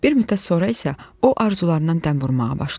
Bir müddət sonra isə o arzularından dəm vurmağa başlayır.